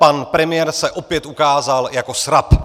Pan premiér se opět ukázal jako srab!